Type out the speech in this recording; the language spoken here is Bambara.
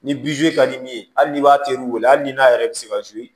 Ni ka di min ye hali n'i b'a teriw wele hali ni n'a yɛrɛ be se ka